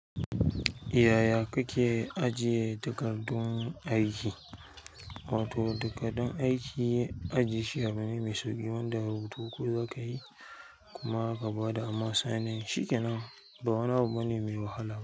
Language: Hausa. Yaya kake ajiye takardun aiki? Wato takardan aiki ajiye shi a wuri mai sauƙi wanda rubutu ko za ka yi kuma gaba da amma sannin shi kenan ba wani abu bane mai wahala.